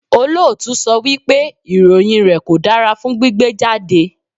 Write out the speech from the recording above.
Olóòtú sọ wípé ìròyìn rẹ̀ kò dára fún gbígbé jáde.